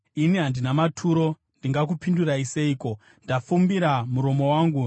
“Ini handina maturo, ndingakupindurai seiko? Ndafumbira muromo wangu.